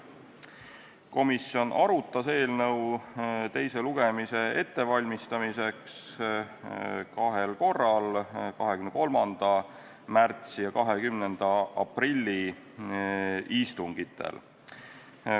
Komisjon arutas eelnõu teist lugemist ette valmistades kahel korral: 23. märtsi ja 20. aprilli istungil.